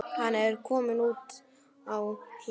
Hann er kominn út á hlað.